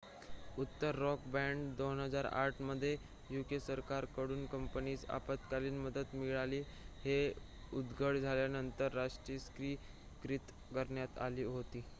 उत्तर Rock bank 2008 मध्ये UK सरकार कडून कंपनीस आपत्कालीन मदत मिळाली हे उघड झाल्यानंतर राष्ट्रीयीकृत करण्यात आली होती